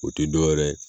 O tɛ dɔwɛrɛ ye